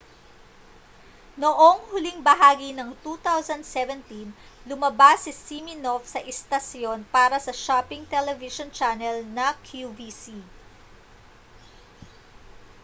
noong huling bahagi ng 2017 lumabas si siminoff sa istasyon para sa shopping television channel na qvc